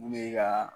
Bu ye ka